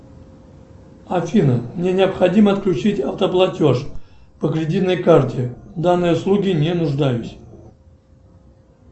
афина мне необходимо отключить автоплатеж по кредитной карте в данной услуге не нуждаюсь